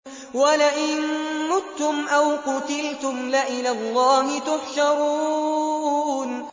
وَلَئِن مُّتُّمْ أَوْ قُتِلْتُمْ لَإِلَى اللَّهِ تُحْشَرُونَ